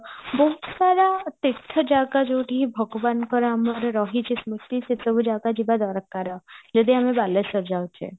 ବହୁତ ସାରା ତୀର୍ଥ ଜାଗା ଯୋଉଠିକି ଭଗବାନଙ୍କର ଆମର ରହିଚି ସ୍ମୁତି ସେସବୁ ଜାଗା ଯିବା ଦରକାର ଯଦି ଆମେ ବାଲେଶ୍ଵର ଯାଉଚେ